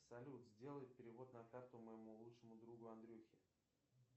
салют сделай перевод на карту моему лучшему другу андрюхе